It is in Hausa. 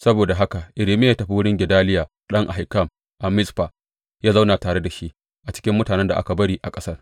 Saboda haka Irmiya ya tafi wurin Gedaliya ɗan Ahikam, a Mizfa ya zauna tare da shi a cikin mutanen da aka bari a ƙasar.